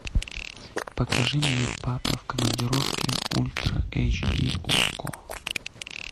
покажи мне папа в командировке ультра эйч ди окко